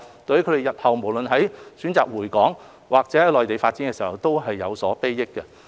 對於他們日後選擇回港，還是在內地發展事業，都有所裨益。